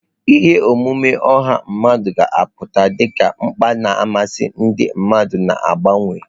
Ihe omume ọha mmadụ ga-apụta dị ka mkpa na mmasị ndị mmadụ na-agbanwe.